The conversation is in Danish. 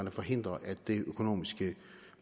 at forhindre at det økonomiske